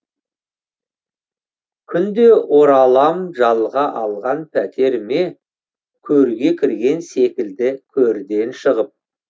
күнде оралам жалға алған пәтеріме көрге кірген секілді көрден шығып